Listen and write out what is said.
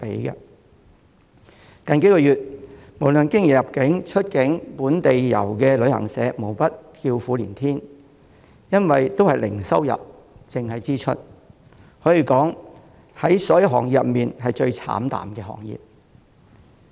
過去數月，無論是經營入境、出境或本地遊的旅行社，無不叫苦連天，因為大家也只有支出而沒有收入，可說是所有行業中最慘淡的行業。